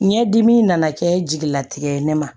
Ɲɛdimi nana kɛ jigilatigɛ ye ne ma